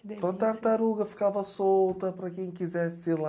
Então, a tartaruga ficava solta para quem quisesse ir lá.